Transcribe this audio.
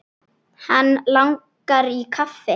Hann langar í kaffi.